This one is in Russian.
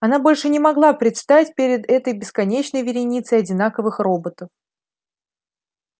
она больше не могла предстать перед этой бесконечной вереницей одинаковых роботов